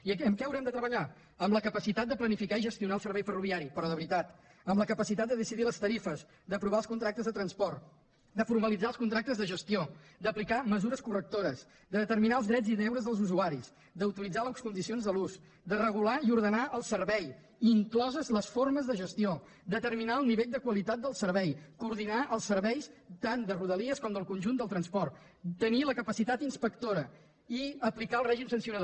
i en què haurem de treballar en la capacitat de planificar i gestionar el servei ferroviari però de veritat en la capacitat de decidir les tarifes d’aprovar els contractes de transport de formalitzar els contractes de gestió d’aplicar mesures correctores de determinar els drets i deures dels usuaris d’utilitzar les condicions de l’ús de regular i ordenar el servei incloses les formes de gestió determinar el nivell de qualitat del servei coordinar els serveis tant de rodalies com del conjunt del transport tenir la capacitat inspectora i aplicar el règim sancionador